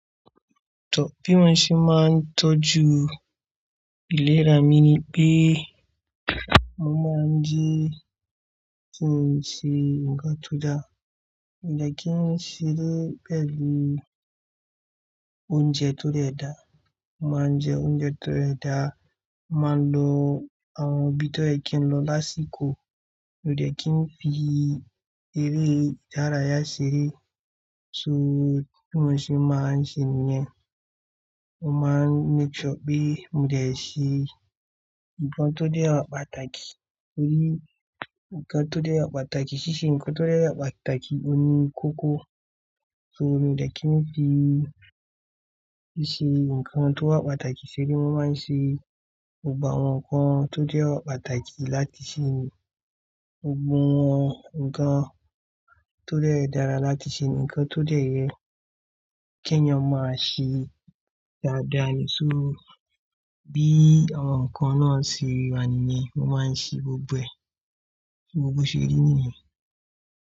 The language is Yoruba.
Tọ́ bí wón ṣe máa ń tọ́jú ìlera mi ni pé mo máa ń jẹ́ kín n ṣe ǹkan tó da. Mo de kin ń ṣeré pẹ̀lú oúnjẹ tó dẹ́da. Mo máa ń jẹ oúnjẹ tó dẹ́da. Mo máa ń lo àwọn ibi tó yẹ kí n lọ lásìkò. Mo de kì ń fi eré ìdárayá ṣeré. So bí mo ṣe máa ń ṣe nìyẹn, mo máa ń make sure pé mo dẹ̀ ṣé ǹkan tó dé wá pàtàkì. Torí ǹkan tó dé wa pàtàkì ṣíṣe ǹkan tó dé wá pàtàkì òní kókó. So mo ní láti fi ṣíṣe ǹkan tó wà pàtàkì ṣeré, mo máa ń ṣe gbogbo àwọ̀n ǹkan tó dé wá pàtàkì láti ṣe Gbogbo wọ́n ǹkan tó dé dẹ́ra láti ṣe ní ǹkan tó dẹ́yẹ. Kí èèyàn mà se dáadáa ni só bí àwọn ǹkan náà ṣe wà nìyẹn ó máa ń ṣe gbogbo ẹ̀. Gbo bó ṣe rí nìyẹn.